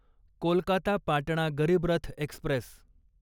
Kolkata Patna Garib Rath Express